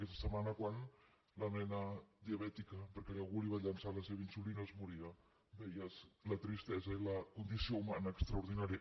aquesta setmana quan la nena diabètica perquè algú li va llençar la seva insulina es moria veies la tristesa i la condició humana extraordinària